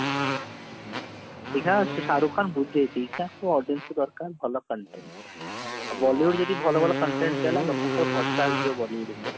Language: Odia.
audience ଙ୍କୁ ଦରକାର ଭଲ content Bollywood ଯଦି ଭଲ ଭଲ content ଦେଲା ଲୋକଙ୍କ ଭରସା ଆସିଯିବ Bollywood ଉପରେ